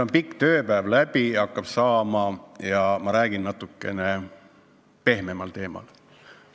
Meie pikk tööpäev hakkab läbi saama ja ma räägin natukene pehmemal teemal.